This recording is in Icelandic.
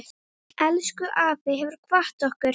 Elsku afi hefur kvatt okkur.